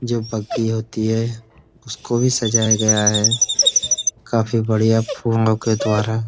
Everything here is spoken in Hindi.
जो बग्गी होती है उसको भी सजाया गया है। काफी बढ़िया फूलों के द्वारा।